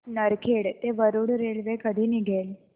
नरखेड ते वरुड रेल्वे कधी निघेल